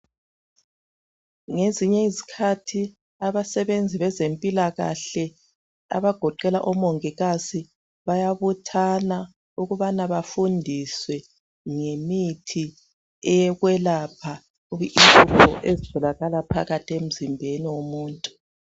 Ngezinye izikhathi abasebenzi bezempilakahle, abagoqela omongikazi, bayabuthana ukubana bafundise ngemithi eyekwelapha inhlupho ezitholakala phakathi emzimbeni womuntu.